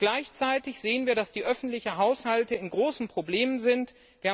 Gleichzeitig sehen wir, dass die öffentlichen Haushalte große Probleme haben.